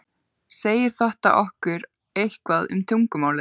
Segir þetta okkur eitthvað um tungumálið?